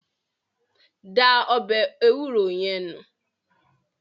Da ọbẹ̀ ewúro yẹn nù.